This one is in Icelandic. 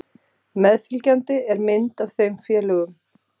Meðfylgjandi er mynd af þeim félögum.